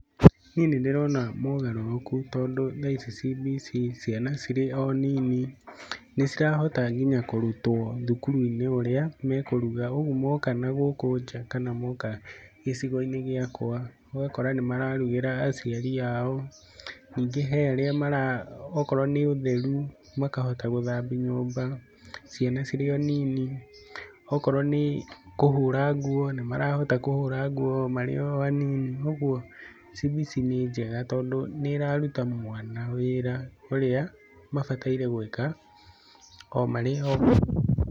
Niĩ nĩ ndĩrona mogarũrũku tondũ tha ici CBC ciana cirĩ o nini, nĩ cirahota nginya kũrutwo thukuru-inĩ ũrĩa mekũruga, ũguo moka na gũkũ nja kana moka gĩcigo-inĩ gĩakwa ũgakora nĩ mararugĩra aciari ao. Ningĩ he arĩa mara, okorwo nĩ ũtheru makahota gũthambia nyũmba, ciana cirĩ o nini, okorwo nĩ kũhũra nguo, nĩ marahota kũhũra nguo marĩ o anini, ũguo CBC nĩ njega tondũ nĩ ĩraruta mwana wĩra ũrĩa mabataire gwĩka o marĩ o anini